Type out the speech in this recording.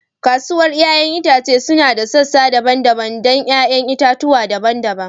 Kasuwar 'ya'yan itace suna da sassa daban-daban don 'ya'yan itatuwa daban-daban.